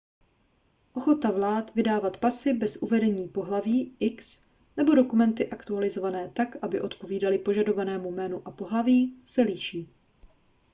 ochota vlád vydávat pasy bez uvedení pohlaví x nebo dokumenty aktualizované tak aby odpovídaly požadovanému jménu a pohlaví se liší